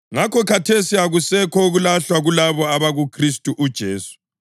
Ngakho, khathesi akusekho ukulahlwa kulabo abakuKhristu uJesu,